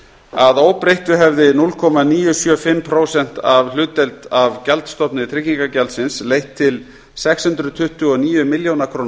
að óbreyttu hefði núll komma núll níu sjö fimm prósent hlutdeild af gjaldstofni tryggingagjaldsins leitt til sex hundruð tuttugu og níu milljóna króna